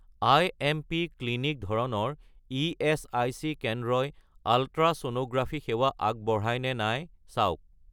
IMP. Clinic ধৰণৰ ESIC কেন্দ্ৰই ultrasonography সেৱা আগবঢ়ায় নে নাই চাওক